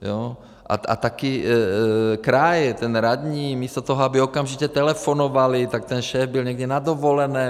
A taky kraj, ten radní místo toho, aby okamžitě telefonovali, tak ten šéf byl někde na dovolené.